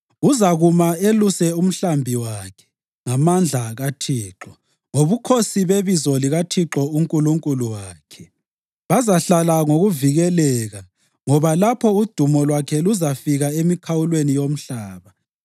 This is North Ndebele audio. Uzakuma eluse umhlambi wakhe ngamandla kaThixo, ngobukhosi bebizo likaThixo uNkulunkulu wakhe. Bazahlala ngokuvikeleka, ngoba lapho udumo lwakhe luzafika emikhawulweni yomhlaba.